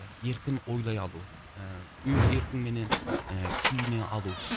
еркін ойлай алу ііі өз еркіңменен і киіне алу